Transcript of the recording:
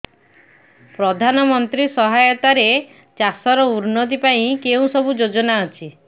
ପ୍ରଧାନମନ୍ତ୍ରୀ ସହାୟତା ରେ ଚାଷ ର ଉନ୍ନତି ପାଇଁ କେଉଁ ସବୁ ଯୋଜନା ଅଛି